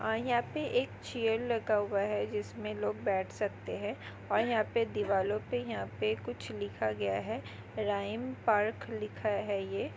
यहाँ पे एक चेअर लगा हुआ है जिसमें लोग बैठ सकते है और यहाँ पे दीवार पे यहाँ पे कुछ लिखा गया है रमाई पार्क लिखा है ये।